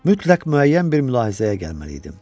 Mütləq müəyyən bir mülahizəyə gəlməliydim.